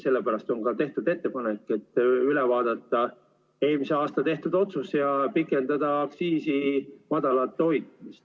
Sellepärast ongi tehtud ettepanek vaadata üle eelmisel aastal tehtud otsus ja pikendada aktsiisi madalal hoidmist.